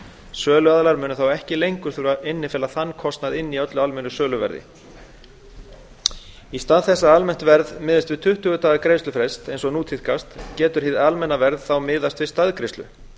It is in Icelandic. söluaðilar munu þá ekki lengur þurfa innifela þann kostnað inn í öllu almennu vöruverðinu í stað þess að almennt verð miðist við tuttugu daga greiðslufrest eins og nú tíðkast getur hið almenna verð miðast við staðgreiðslu